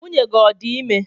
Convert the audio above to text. Nwunye gi ọ dị ime?